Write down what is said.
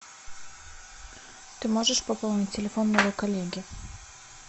ты можешь пополнить телефон моего коллеги